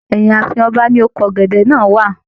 Ẹyin ààfin ọba ní oko ọgẹdẹ náà wà.